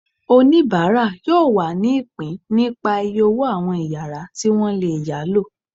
onibara yóò wá ní ipín nípá iyé ọwọ àwọn iyàrá ti wọn lé yalo.